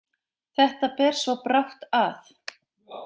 Þetta ber svo brátt að.